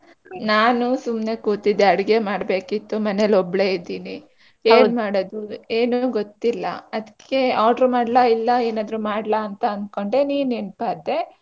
ನಾನು ಸುಮ್ನೆ ಕೂತಿದ್ದೆ ಅಡಿಗೆ ಮಾಡ್ಬೇಕಿತ್ತು ಮನೇಲಿ ಒಬ್ಳೆ ಇದ್ದೀನಿ ಏನ್ ಮಾಡೋದು ಏನು ಗೊತ್ತಿಲ್ಲ ಅದ್ಕೆ order ಮಾಡ್ಲಾ ಇಲ್ಲ ಏನಾದ್ರು ಮಾಡ್ಲಾ ಅಂತ ಅನ್ಕೊಂಡೆ ನೀನ್ ನೆನ್ಪಾದೆ.